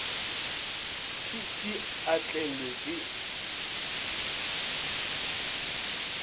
t t a tlelwe ke